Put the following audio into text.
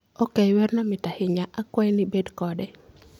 ok, werno mit ahinya. Akwayi ni ibed kode.